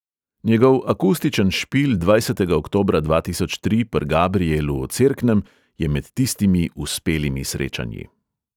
Njegov akustičen špil dvajsetega oktobra dva tisoč tri pr' gabrijelu v cerknem je med tistimi uspelimi srečanji.